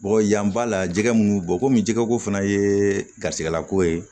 Bɔgɔ yan ba la jɛgɛ munnu bɔ komi jɛgɛ ko fana ye garijɛgɛla ko ye